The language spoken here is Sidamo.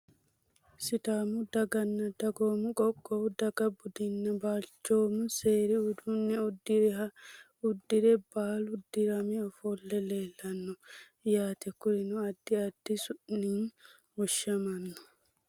Sidaamu dagana dagoomu qoqowu daga budunna balcoomu seeri uduune buduniha udire baalu dirame ofole leelano yaate kurino adi adi su`ini woshamano.